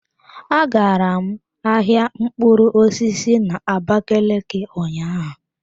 Agara m ahịa mkpụrụ osisi na abakaliki ụnyaahụ.